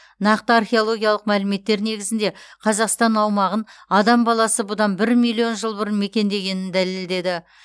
нақты археологиялық мәліметтер негізінде қазақстан аумағын адам баласы бұдан бір миллион жыл бұрын мекендегенін дәлелдеді